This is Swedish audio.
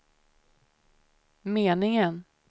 meningen